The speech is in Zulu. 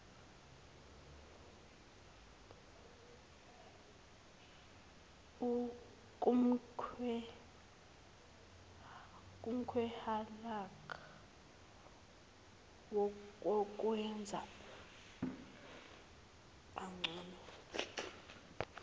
kumklhakah wokwenza kangcono